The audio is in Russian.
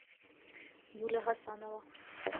юля гасанова